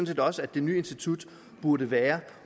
set også at det nye institut burde være